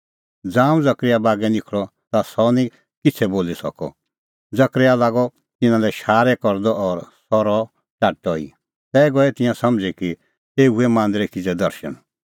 ज़ांऊं जकरयाह बागै निखल़अ ता सह निं किछ़ै बोली सकअ जकरयाह लागअ तिन्नां लै शारै करदअ और सह रहअ टाट्टअ ई तै गऐ तिंयां समझ़ी कि एऊ हुऐ मांदरै किज़ै दर्शण